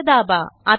Enterदाबा